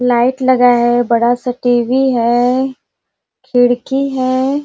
Light लगा है बड़ा -सा टी_वी है खिड़की है ।